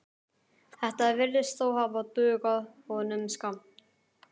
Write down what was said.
Þetta virðist þó hafa dugað honum skammt.